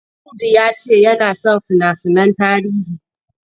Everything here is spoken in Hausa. Audu ya ce yana son fina-finan tarihi.